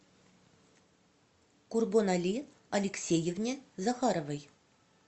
курбонали алексеевне захаровой